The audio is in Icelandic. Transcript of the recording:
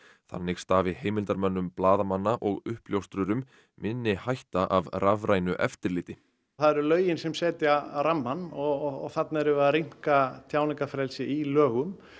þannig stafi heimildarmönnum blaðamanna og uppljóstrurum minni hætta af rafrænu eftirliti það eru lögin sem setja rammann og þarna erum við að rýmka tjáningarfrelsið í lögum